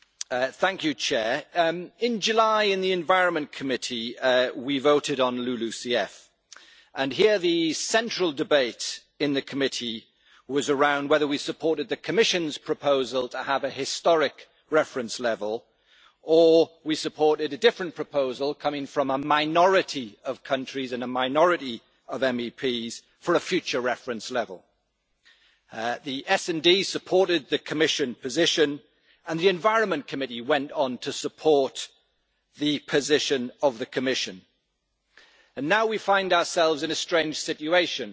Mr President, in July in the Committee on the Environment, Public Health and Food Safety we voted on LULUCF and here the central debate in the committee was around whether we supported the Commission's proposal to have a historic reference level, or we supported a different proposal coming from a minority of countries and a minority of MEPs for a future reference level. The SD supported the Commission position and the Environment Committee went on to support the position of the Commission. And now we find ourselves in a strange situation